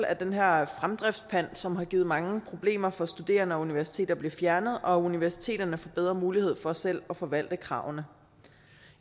at den her fremdriftspant som har givet mange problemer for studerende og universiteter bliver fjernet og at universiteterne får bedre mulighed for selv at forvalte kravene